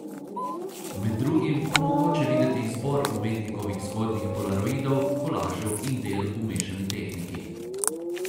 Med drugim bo mogoče videti izbor umetnikovih zgodnjih polaroidov, kolažev in del v mešani tehniki.